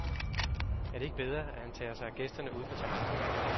Er det ikke bedre, at han tager sig af gæsterne ude på terrassen?